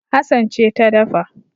Hassan ce ta dafa